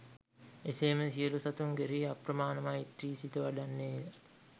එසේම සියලු සතුන් කෙරෙහි අප්‍රමාණ මෛත්‍රි සිත වඩන්නේ ය.